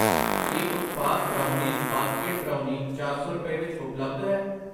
ਕੀ ਉਤਪਾਦ brownies basket brownie ਚਾਰ ਸੌ ਰੁਪਏ ਵਿੱਚ ਉਪਲੱਬਧ ਹੈ?